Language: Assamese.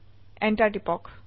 enter টিপক